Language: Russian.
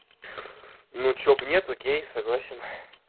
ну что бы нет окей согласен